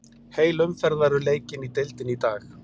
Heil umferð verður leikin í deildinni í dag.